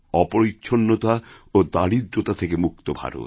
অপরিচ্ছন্নতা ও দারিদ্রতাথেকে মুক্ত ভারত